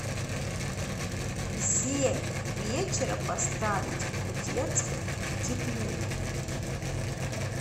в семь вечера поставить в детской теплее